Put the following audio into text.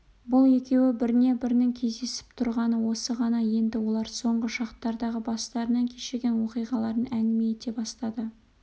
бұл екеуі біріне бірінің кездесіп тұрғаны осы ғана енді олар соңғы шақтардағы бастарынан кешірген оқиғаларын әңгіме ете бастады